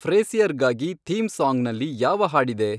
ಫ್ರೇಸಿಯರ್ಗಾಗಿ theme ಸಾಂಗ್ನಲ್ಲಿ ಯಾವ ಹಾಡಿದೆ